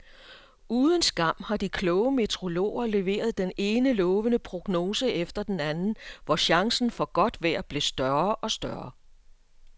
Uden skam har de kloge meteorologer leveret den ene lovende prognose efter den anden, hvor chancen for godt vejr blev større og større.